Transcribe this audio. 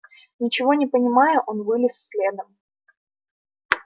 ничего не понимая он вылез следом